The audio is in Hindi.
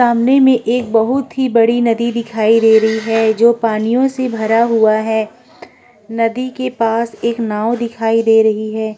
सामने में एक बहुत ही बड़ी नदी दिखाई दे रही है जो पानियों से भरा हुआ है। नदी के पास एक नाव दिखाई दे रही है।